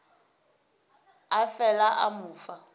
a fela a mo fa